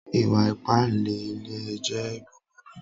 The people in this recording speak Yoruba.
Ìwà-ípànle ilẹ̀ jẹ̀ búbúrù